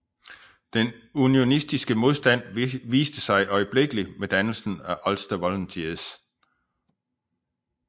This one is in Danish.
Den unionistiske modstand viste sig øjeblikkelig med dannelsen af Ulster Volunteers